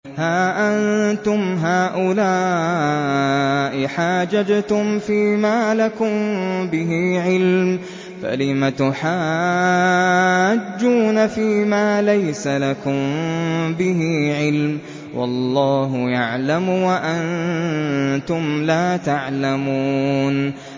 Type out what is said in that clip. هَا أَنتُمْ هَٰؤُلَاءِ حَاجَجْتُمْ فِيمَا لَكُم بِهِ عِلْمٌ فَلِمَ تُحَاجُّونَ فِيمَا لَيْسَ لَكُم بِهِ عِلْمٌ ۚ وَاللَّهُ يَعْلَمُ وَأَنتُمْ لَا تَعْلَمُونَ